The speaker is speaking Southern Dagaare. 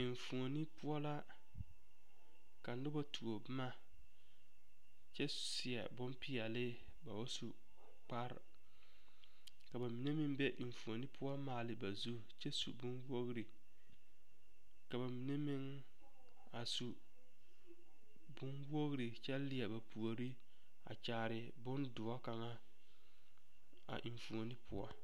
Engioni poɔ la ka noba tuo boma kyɛ seɛ bompeɛle ba ba su kparre ka ba mine meŋ be enfuoni poɔ maale ba zu kyɛ su bonwogri ka ba mine meŋ a su bonwogri kyɛ leɛ ba puori a kyaare bondoɔ kaŋa a enfuoni poɔ.